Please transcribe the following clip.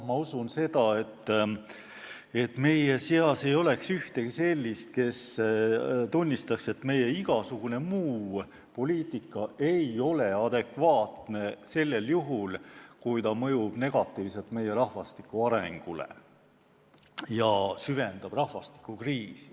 Ma usun, et meie seas ei ole ühtegi inimest, kes ei tunnistaks, et riigi igasugune muu poliitika ei ole adekvaatne sellel juhul, kui ta mõjub negatiivselt meie rahvastiku arengule ja süvendab rahvastikukriisi.